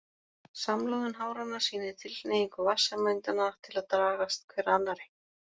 Samloðun háranna sýnir tilhneigingu vatnssameindanna til að dragast hver að annarri.